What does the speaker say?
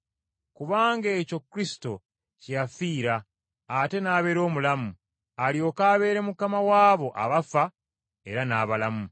Kubanga ekyo Kristo kye yafiira ate n’abeera omulamu, alyoke abeere Mukama w’abo abaafa era n’abalamu.